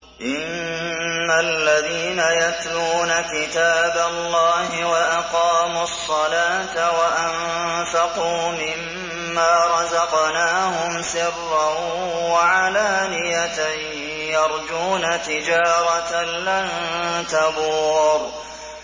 إِنَّ الَّذِينَ يَتْلُونَ كِتَابَ اللَّهِ وَأَقَامُوا الصَّلَاةَ وَأَنفَقُوا مِمَّا رَزَقْنَاهُمْ سِرًّا وَعَلَانِيَةً يَرْجُونَ تِجَارَةً لَّن تَبُورَ